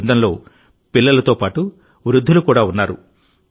ఈ బృందంలో పిల్లలతో పాటు వృద్ధులు కూడా ఉన్నారు